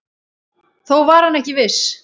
Þó var hann ekki viss.